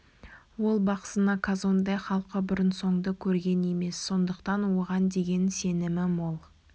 ол бақсыны казонде халқы бұрын-соңды көрген емес сондықтан оған деген сенімі мол